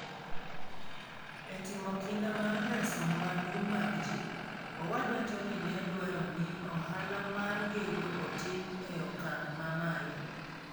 E timo kinda mar reso mwandu mag ji, owadwa Tony ne dwaro ni ohala mar gedo otim e okang ' mamalo.